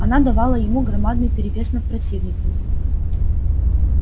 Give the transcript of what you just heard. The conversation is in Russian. она давала ему громадный перевес над противниками